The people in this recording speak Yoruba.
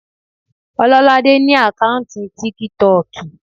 Ọlọ́ládé ní àkáùntì tíkítọ̀kì